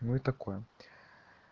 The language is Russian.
ну и такое